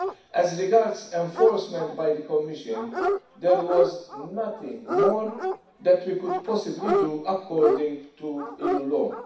As regards enforcement by the Commission, there was nothing more that we could possibly do according to EU law.